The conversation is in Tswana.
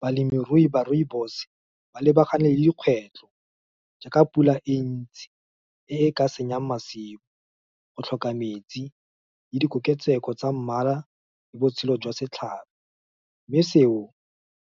Balemirui ba rooibos, ba lebagane le dikgwetlho, jaaka pula e ntsi, e e ka senyang masimo, go tlhoka metsi, le dikoketseko tsa mmala, le botshelo jwa setlhabo. Mme seo,